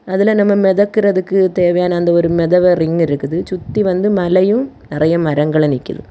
அதுல நம்ம மெதக்குறதுக்கு தேவையான அந்த ஒரு மெதவ ரிங்கு இருக்குது சுத்தி வந்து மலையும் நெறய மரங்களும் நிக்கிது.